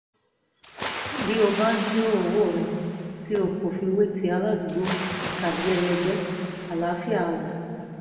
bí o bá ń ṣírò owó rẹ tí o kò fi wé ti aládùúgbò tàbí ẹlẹgbẹ́ àlàáfíà á wà